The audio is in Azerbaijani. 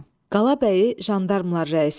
Qalabəyi jandarmlar rəisinə.